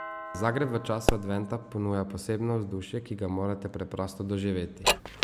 Zagreb v času adventa ponuja posebno vzdušje, ki ga morate preprosto doživeti.